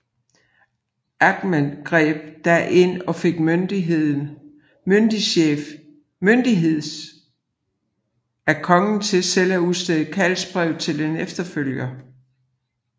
Ahnen greb da ind og fik myndighef af kongen til selv at udstede kaldsbrev til en efterfølger